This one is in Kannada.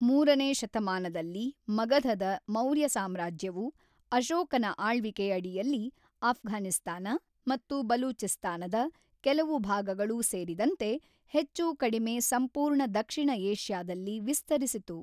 ೩ನೇ ಶತಮಾನದಲ್ಲಿ ಮಗಧದ ಮೌರ್ಯ ಸಾಮ್ರಾಜ್ಯವು ಅಶೋಕನ ಆಳ್ವಿಕೆಯಡಿಯಲ್ಲಿ ಅಫ್ಘಾನಿಸ್ತಾನ ಮತ್ತು ಬಲೂಚಿಸ್ತಾನದ ಕೆಲವು ಭಾಗಗಳು ಸೇರಿದಂತೆ ಹೆಚ್ಚುಕಡಿಮೆ ಸಂಪೂರ್ಣ ದಕ್ಷಿಣ ಏಷ್ಯಾದಲ್ಲಿ ವಿಸ್ತರಿಸಿತು.